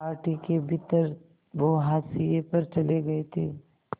party के भीतर वो हाशिए पर चले गए थे